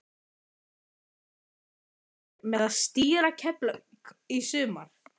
Blaðamaður: Þú kemur til með að stýra Keflavík í sumar?